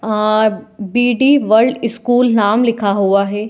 और BD world school नाम लिखा हुआ है।